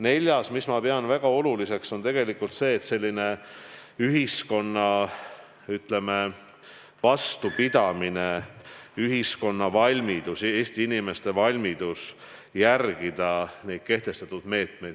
Neljas, mida ma pean väga oluliseks, on ühiskonna vastupidamine ja Eesti inimeste valmidus järgida kehtestatud meetmeid.